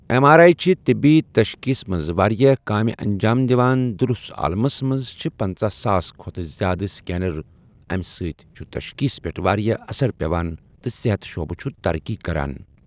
M R I چھِ طِبی تَشخیٖص مَنٛز واریاہ کامہِ اَنٛجام دِوان دُرُس عالمَس مَنٛز چھِ پٕنژٕہساس کھوتہٕ زیٛادٕ سیکینَر اَمہِ سٟتؠ چھُ تَشخیٖص پؠٹھ واریاہ اَثر پؠوان تہٕ صَحت شُعبہٕ چھُ تَرقی کَران.